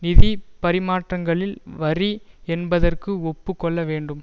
நிதி பரிமாற்றங்களில் வரி என்பதற்கு ஒப்பு கொள்ள வேண்டும்